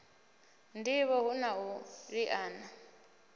ndivho hu na u liana